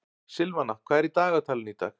Silvana, hvað er í dagatalinu í dag?